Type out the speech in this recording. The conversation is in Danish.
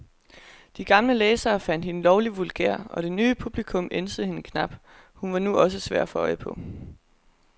De gamle læsere fandt hende lovlig vulgær, og det nye publikum ænsede hende knap, hun var nu også svær at få øje på.